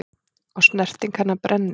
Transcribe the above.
Og snerting hennar brennir.